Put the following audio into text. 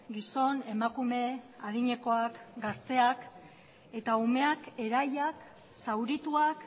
gizon emakume adinekoak gazteak eta umeak erailak zaurituak